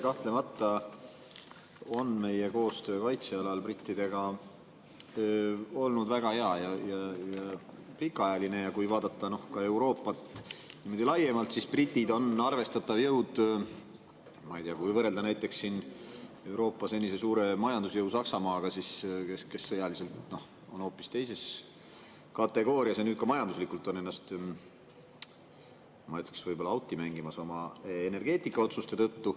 Kahtlemata on meie koostöö brittidega kaitse alal olnud väga hea ja pikaajaline ja kui vaadata Euroopat laiemalt, siis britid on arvestatav jõud, ma ei tea, kui võrrelda näiteks Euroopa senise suure majandusjõu Saksamaaga, kes sõjaliselt on hoopis teises kategoorias ja nüüd ka majanduslikult on ennast, ma ütleks, võib-olla auti mängimas oma energeetikaotsuste tõttu.